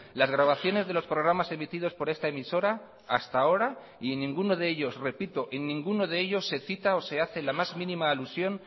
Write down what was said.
las grabaciones de los programas emitidos por esta emisora hasta ahora y en ninguno de ellos repito en ninguno de ellos se cita o se hace la más mínima alusión